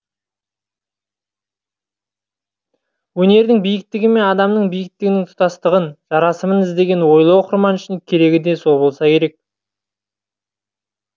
өнердің биіктігі мен адам биіктігінің тұтастығын жарасымын іздеген ойлы оқырман үшін керегі де сол болса керек